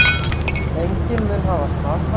Enginn mun hafa slasast.